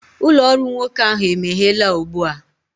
ụlọ ọrụ nwoke ahụ emeghela ugbu a